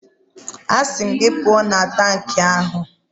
Asị m gị, pụọ na tankị ahụ!